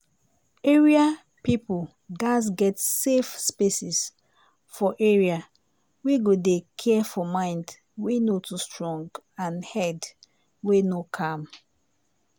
area peope gats get safe spaces for area wey go dey care for mind wey no too strong and head wey no calm